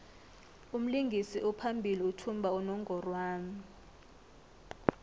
umlingisi ophambili uthumba unongorwand